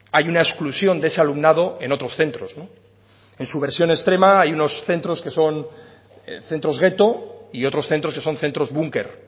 hay una exclusión de ese alumnado en otros centros en su versión extrema hay unos centros que son centros gueto y otros centros que son centros búnker